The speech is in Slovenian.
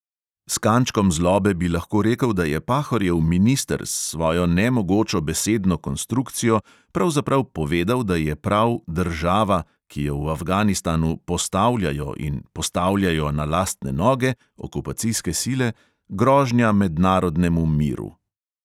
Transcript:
S kančkom zlobe bi lahko rekel, da je pahorjev minister s svojo nemogočo besedno konstrukcijo pravzaprav povedal, da je prav "država", ki jo v afganistanu "postavljajo" in "postavljajo na lastne noge" okupacijske sile, "grožnja mednarodnemu miru".